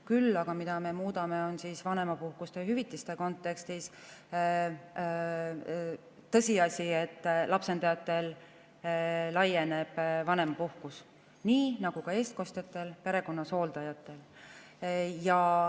Küll aga me muudame vanemapuhkuste ja ‑hüvitiste kontekstis seda, et on tõsiasi, et lapsendajatele laieneb vanemapuhkus, nii nagu ka eestkostjatele perekonnas, hooldajatele.